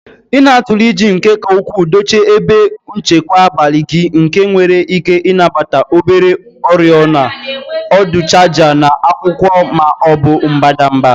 Ị na-atụle iji nke ka ukwuu dochie ebe nchekwa abalị gị nke nwere ike ịnabata obere oriọna, ọdụ chaja na akwụkwọ ma ọ bụ mbadamba.